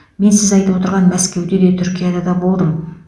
мен сіз айтып отырған мәскеуде де түркияда да болдым